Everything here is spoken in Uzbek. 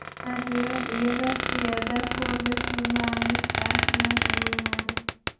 Nashriyot uyi Rossiyada Forbes jurnalini chiqarish bilan shug‘ullanadi.